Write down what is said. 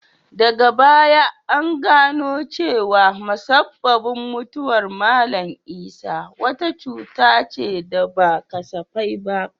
Daga baya an gano cewa musabbabin mutuwar Mallam Isah wata cuta ce da ba kasafai ba.